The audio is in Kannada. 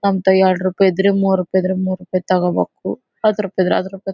ಅಂತ ಎರಡ್ ರೂಪಾಯಿ ಇದ್ರೆ ಮೂರ್ ರೂಪಾಯಿ ಇದ್ರೆ ಮೂರ್ ರೂಪಾಯಿ ತಗೋಬೇಕು ಹತ್ತ್ ರೂಪಾಯಿ ಇದ್ರೆ ಹತ್ತ್ ರೂಪಾಯಿ--